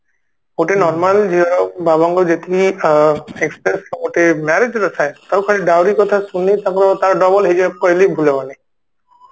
ଗୋଟେ normal ବାବା ଙ୍କୁ ଯେତିକି ଅ expense ର ଗୋଟେ marriage ର ଥାଏ ତାକୁ ଖାଲି dowry କଥା ଶୁଣି ତାକୁ ତା double ହେଇଯିବ କହିଲେ ବି ଭୁଲ ହବନି